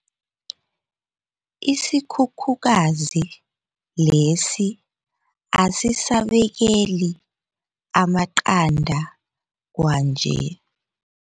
Isikhukhukazi lesi asisabekeli amaqanda kwanje.